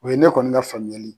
U ye ne kɔni ka faamuyali